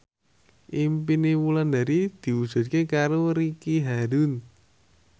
impine Wulandari diwujudke karo Ricky Harun